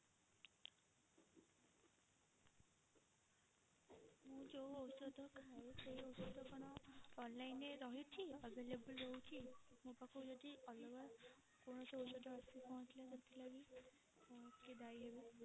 ମୁଁ ଯୋଉ ଔଷଧ ଖାଏ ସେଇ ଔଷଧ କଣ online ରେ ରହିଛି available ରହୁଛି ମୋ ପାଖକୁ ଯଦି ଅଲଗା କୌଣସି ଔଷଧ ଆସିକି ପହଞ୍ଚିଲା ତ ସେଥିଲାଗି କିଏ ଦାୟୀ ହେବେ?